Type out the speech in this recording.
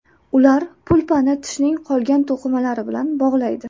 Ular pulpani tishning qolgan to‘qimalari bilan bog‘laydi.